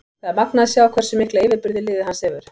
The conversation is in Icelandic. Það er magnað að sjá hversu mikla yfirburði liðið hans hefur.